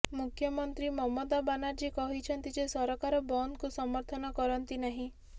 ମୁଖ୍ୟମନ୍ତ୍ରୀ ମମତା ବାନାର୍ଜୀ କହିଛନ୍ତି ଯେ ସରକାର ବନ୍ଦକୁ ସମର୍ଥନ କରନ୍ତି ନାହିଁ